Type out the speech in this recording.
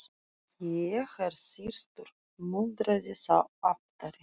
Ég er þyrstur muldraði sá aftari.